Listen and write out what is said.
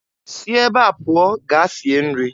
Si ebe a pụọ gaa sie nri!